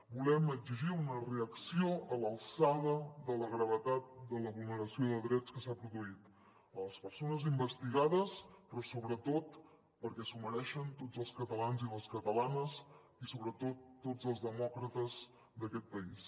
volem exigir una reacció a l’alçada de la gravetat de la vulneració de drets que s’ha produït a les persones investigades però sobretot perquè s’ho mereixen tots els catalans i les catalanes i sobretot tots els demòcrates d’aquest país